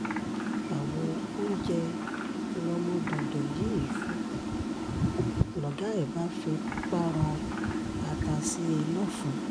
àwo oúnjẹ lọ́mọdọ́dọ yìí fọ́ lọ̀gá ẹ̀ bá fipá rọ́ ata sí i lọ́fun